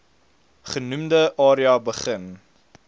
genoemde area begin